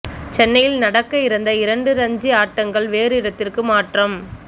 சென்னையில் நடக்க இருந்த இரண்டு ரஞ்சி ஆட்டங்கள் வேறு இடத்துக்கு மாற்றம்